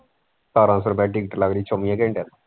ਸਤਾਰਾਂ ਸੋ ਰੁਪਇਆ ticket ਲੱਗਦੀ ਚੋਵੀਆਂ ਘੰਟਿਆਂ ਦੀ।